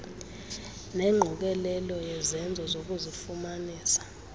nengqokelela yezenzo zokuzifumanisa